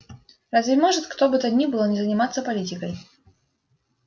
разве может кто бы то ни было не заниматься политикой